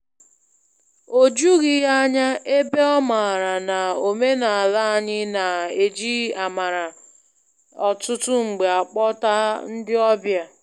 O jughị ya ányá, ebe ọ maara n a omenala anyị na-eji amara ọtụtụ mgbe akpọta ndị ọbịa.